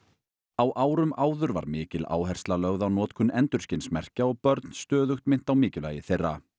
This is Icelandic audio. á árum áður var mikil áhersla lögð á notkun endurskinsmerkja og börn stöðugt minnt á mikilvægi þeirra